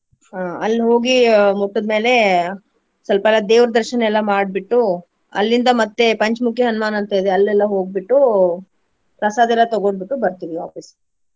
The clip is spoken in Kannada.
ಹಾ ಅಲ್ಲಿ ಹೋಗಿ ಮುಟ್ಟಿದ್ಮೇಲೆ ಸ್ವಲ್ಪರಾ ದೇವ್ರ ದರ್ಶನ ಎಲ್ಲಾ ಮಾಡ್ಬಿಟ್ಟು ಅಲ್ಲಿಂದ ಮತ್ತೆ ಪಂಚಮುಖಿ ಹನ್ಮಾನ್ ಅಂತ್ ಇದೆ ಅಲ್ಲಿ ಎಲ್ಲಾ ಹೋಗ್ಬಿಟ್ಟು ಪ್ರಸಾದೆಲ್ಲಾ ತಗೊಂಡ ಬಿಟ್ಟು ಬರ್ತೆವಿ ವಾಪಸ್ಸ್.